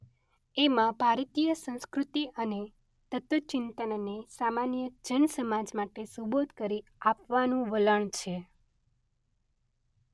એમાં ભારતીય સંસ્કૃતિ અને તત્વચિંતનને સામાન્ય જનસમાજ માટે સુબોધ કરી આપવાનું વલણ છે.